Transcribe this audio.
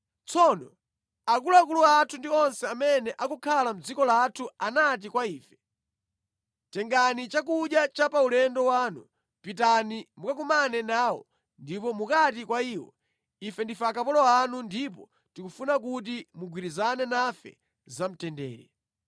Tsono akuluakulu athu ndi onse amene akukhala mʼdziko lathu anati kwa ife. Tengani chakudya cha pa ulendo wanu. Pitani mukakumane nawo ndipo mukati kwa iwo, ‘Ife ndife akapolo anu, ndipo tikufuna kuti mugwirizane nafe za mtendere.’ ”